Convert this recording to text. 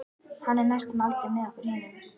Hann er næstum aldrei með okkur hinum.